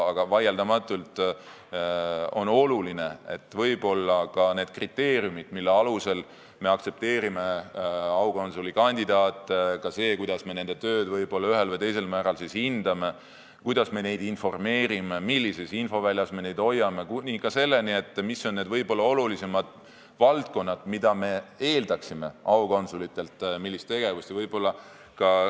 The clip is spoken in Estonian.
Aga vaieldamatult on olulised need kriteeriumid, mille alusel me aktsepteerime aukonsulikandidaate, ka see, kuidas me nende tööd ühel või teisel määral hindame, kuidas me neid informeerime, millises infoväljas me neid hoiame, kuni selleni, mis on olulisemad valdkonnad, millist tegevust me aukonsulitelt eeldame.